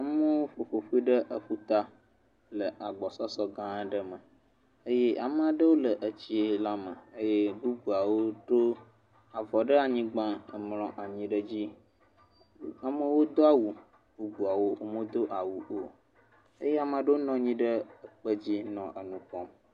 Nyɔnuwo ƒo ƒo ƒu ɖe aƒuta le agbɔsɔsɔgã aɖe me eye ame aɖewo le etsiiila me eye bubu aɖewo ɖo avɔ ɖe anyigba emlɔ anyi ɖe edzi. Amewo do awu, bubuawo momedo awu o eye ame aɖewo nɔ anyi ɖe ekpedzi nɔ nu kpɔm.